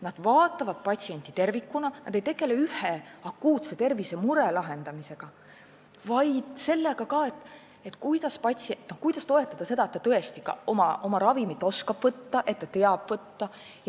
Nad vaatavad patsienti tervikuna, nad ei tegele ainult ühe akuutse tervisemure lahendamisega, vaid ka sellega, kuidas toetada patsienti, et ta tõesti oskaks oma ravimit võtta, et ta teaks seda võtta.